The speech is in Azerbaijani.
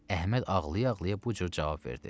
Əhməd ağlaya-ağlaya bu cür cavab verdi.